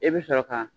I bɛ sɔrɔ ka